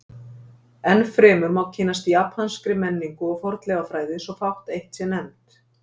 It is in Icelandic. enn fremur má kynnast japanskri menningu og fornleifafræði svo fátt eitt sé nefnt